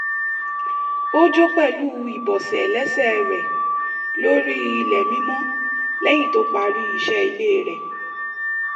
ó jó pẹ̀lú ibọ̀sẹ̀ lẹ́sẹ̀ rẹ̀ lórí ilẹ̀ mímọ lẹ́yìn tó parí isẹ́ ilé rẹ̀